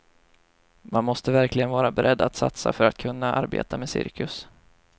Man måste verkligen vara beredd att satsa för att kunna arbeta med cirkus.